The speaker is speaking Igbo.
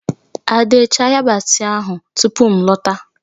Ade, chaa yabasị ahụ tupu m lọta!